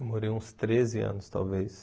Eu morei uns treze anos, talvez.